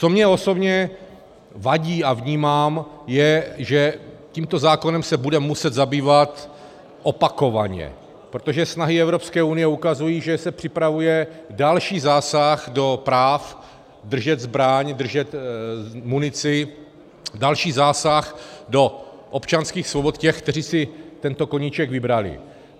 Co mně osobně vadí a vnímám, je, že tímto zákonem se budeme muset zabývat opakovaně, protože snahy Evropské unie ukazují, že se připravuje další zásah do práv držet zbraň, držet munici, další zásah do občanských svobod těch, kteří si tento koníček vybrali.